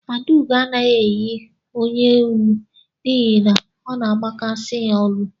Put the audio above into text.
Adaugo anaghị eyi onyeolu n'ihi na ọ na agbakasị ya olu.